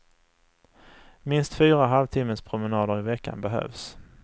Minst fyra halvtimmespromenader i veckan behövs.